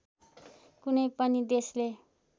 कुनै पनि देशले